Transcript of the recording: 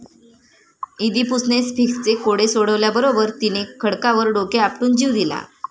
इदीपुसणे स्फिंक्सचे कोडे सोडवल्याबरोबर तिने खडकावर डोके आपटून जीव दिला.